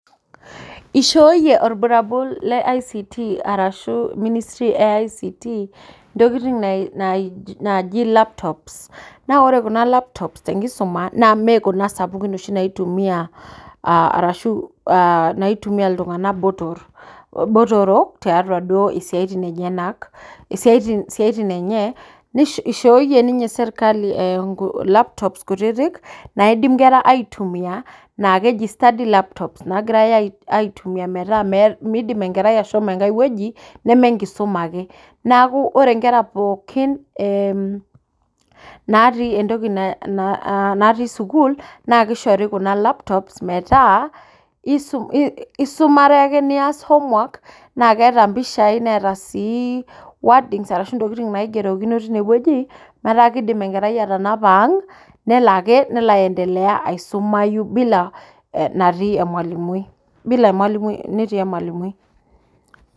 Ishooyie orburabul le ICT arashuu ministry e ICT ntokitin naaji laptop naa ore kuna laptop te nkisuma naa mekuna sapuki oshi naaitumia kulo tung'ana botorok etii siaaitin enye ishooyie serkali laptop kutiti naaidim nkera aaitumia, naa keji study laptop naagirai aaitumia naa meeidim enkerai ashomo enkae wueji neme enkisuma ake, neeku ore nkera pooki naatii sukuul naa kishori kuna laptops metaa isumare ake nias homework naakeeta mpishai netaa sii wordings ashuu ntokitin naigerokino tinewueji metaa kidim enkerai atanapa ang nelo aisumare neeku kidim aisumayu bila natii emwalimui.